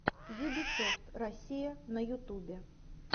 юбисофт россия на ютубе